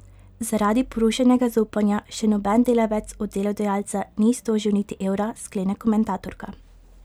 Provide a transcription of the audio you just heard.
Zaradi porušenega zaupanja še noben delavec od delodajalca ni iztožil niti evra, sklene komentatorka.